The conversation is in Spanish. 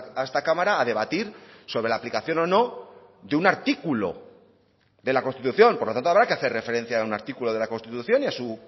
a esta cámara a debatir sobre la aplicación o no de un artículo de la constitución por lo tanto habrá que hacer referencia a un artículo de la constitución y a su